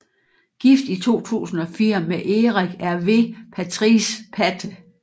Gift i 2004 med Eric Hervé Patrice Patte